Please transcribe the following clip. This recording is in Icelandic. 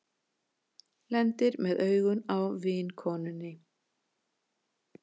Lendir með augun á vinkonunni.